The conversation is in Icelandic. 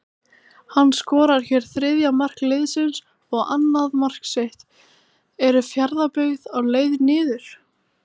HANN SKORAR HÉR ÞRIÐJA MARK LIÐSINS OG ANNAÐ MARK SITT, ERU FJARÐABYGGÐ Á LEIÐ NIÐUR???